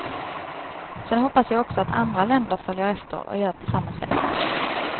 Sen hoppas jag också att andra länder följer efter och gör på samma sätt.